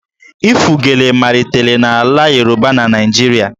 Ịfụ gele malitere na ala Yoruba na Naịjirịa